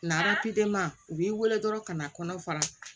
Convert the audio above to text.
u b'i wele dɔrɔn ka na kɔnɔ fara